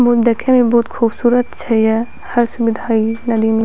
पूल देखे में बहुत खूबसूरत छै या इ नदी में --